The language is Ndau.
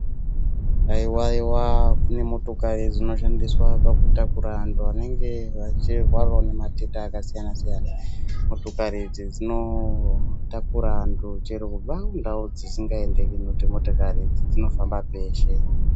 Haiwaiwa kune motokari dzinoshandiswa pakutakura antu anenge achirwarawo ngematenda akasiyana -siyana. Motokari idzi dzinotakurawo antu chero kubva kundau dzisingaendeki ngekuti motokari idzi dzinofamba peshe